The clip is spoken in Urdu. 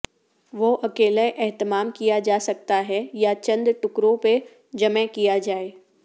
وہ اکیلے اہتمام کیا جا سکتا ہے یا چند ٹکڑوں پر جمع کیا جائے